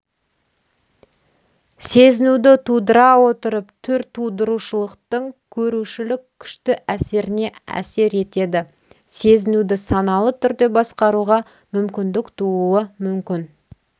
сезінуді тудыра отырып түртудырушылықтың көрушілік күшті әсеріне әсер етеді сезінуді саналы түрде басқаруға мүмкіндік тууы мүмкін